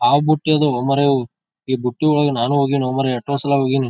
ಹಾವು ಬುತ್ತಿ ಅದು ಈ ಬುತ್ತಿ ಒಳಗೆ ನಾನು ಹೋಗಿನಿ ಎಸ್ಟೋಸರ.